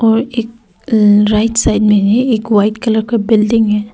और एक right side में भी एक वाइट कलर का बिल्डिंग है।